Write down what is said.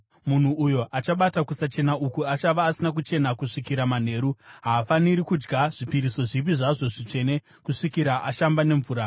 Munhu uyo achabata kusachena uku achava asina kuchena kusvikira manheru. Haafaniri kudya zvipiriso zvipi zvazvo zvitsvene kusvikira ashamba nemvura.